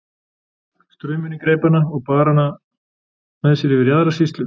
Straumurinn greip hana og bar hana með sér yfir í aðra sýslu.